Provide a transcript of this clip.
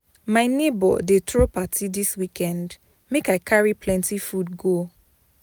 My neighbor dey throw party dis weekend, make I carry plenty food go.